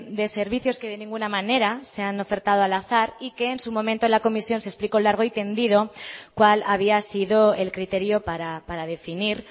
de servicios que de ninguna manera se han ofertado al azar y que en su momento en la comisión se explicó largo y tendido cuál había sido el criterio para definir